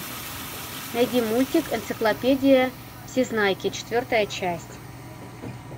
найди мультик энциклопедия всезнайки четвертая часть